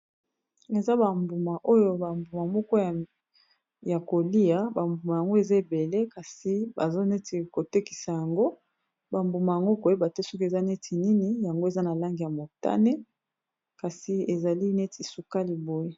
Eza ba mbuma oyo ba mbuma moko ya kolia, ba mbuma yango eza ebele kasi baza neti ko tekisa yango. Ba mbuma yango koyeba te soki eza neti nini yango eza na langi ya motane, kasi ezali neti sukali boye.